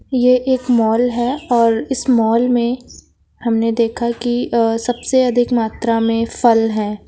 यह एक माल है और मॉल में हमने देखा की अह सबसे अधिक मात्रा में फल हैं।